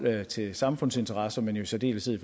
til samfundsinteresser men i særdeleshed